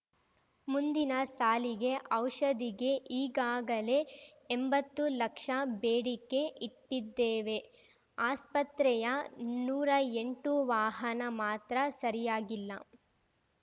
ಮುಂದಿನ ಸಾಲಿಗೆ ಔಷಧಿಗೆ ಈಗಾಗಲೇ ಎಂಬತ್ತು ಲಕ್ಷ ಬೇಡಿಕೆ ಇಟ್ಟಿದ್ದೇವೆ ಆಸ್ಪತ್ರೆಯ ನೂರಾ ಎಂಟು ವಾಹನ ಮಾತ್ರ ಸರಿಯಾಗಿಲ್ಲ